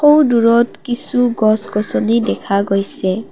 সৌ দূৰত কিছু গছ-গছনি দেখা গৈছে।